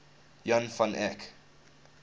jan van eyck